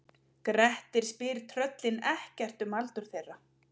Grettir spyr tröllin ekkert um aldur þeirra.